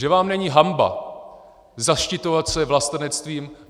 Že vám není hanba zaštiťovat se vlastenectvím!